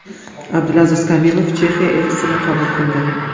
Abdulaziz Kamilov Chexiya elchisini qabul qildi.